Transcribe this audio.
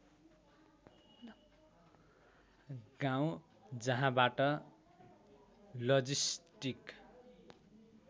गाउँँ जहाँबाट लजिस्टिक